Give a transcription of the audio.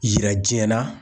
Yira diɲɛ na